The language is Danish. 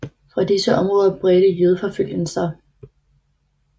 Fra disse områder bredte jødeforfølgelsen sig